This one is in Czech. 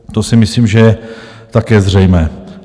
To si myslím, že je také zřejmé.